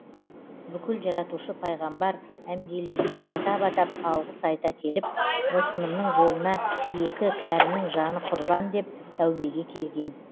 бүкіл жаратушы пайғамбар әмбиелерге атап атап алғыс айта келіп осынымның жолына екі кәрінің жаны құрбан деп тәубеге келген